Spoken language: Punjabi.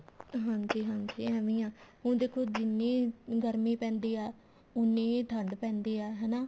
ਹਾਂਜੀ ਹਾਂਜੀ ਏਵੇਂ ਹੀ ਆ ਹੁਣ ਦੇਖੋ ਜਿੰਨੀ ਗਰਮੀ ਪੈਂਦੀ ਆ ਉੰਨੀ ਹੀ ਠੰਡ ਪੈਂਦੀ ਆ ਹਨਾ